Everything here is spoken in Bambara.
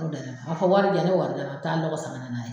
a fɔ wari di yan, ne bɛ wari d'a ma, a bɛ taa lɔgɔ san ka nan'a ye